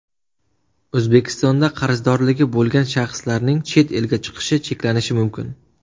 O‘zbekistonda qarzdorligi bo‘lgan shaxslarning chet elga chiqishi cheklanishi mumkin .